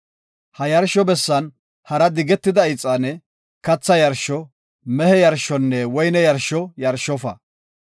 Ha yarsho bessan hara digetida ixaane, katha yarsho, mehe yarshonne woyne yarsho yarshofa.